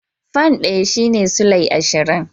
Fan ɗaya shine sulai ashirin.